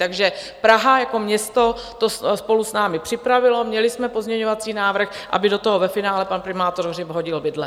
Takže Praha jako město to spolu s námi připravilo, měli jsme pozměňovací návrh, aby do toho ve finále pan primátor Hřib hodil vidle.